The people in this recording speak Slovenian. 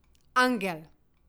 Angel!